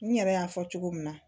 N yɛrɛ y'a fɔ cogo min na